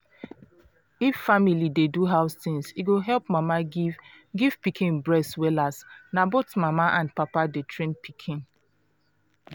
if family dey do house things e go help mama give give pikin breast wellas na both mama and papa dey train pikin